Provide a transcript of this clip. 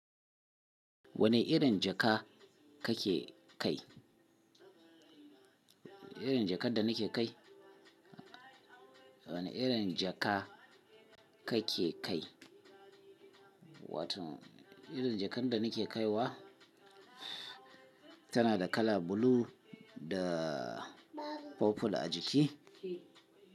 Wane irin jaka kake kai? Irin jakar da nake kai? Wane irin jaka kake kai? Wato, irin jakar da nake kaiwa tana da kala blue da purple a jiki.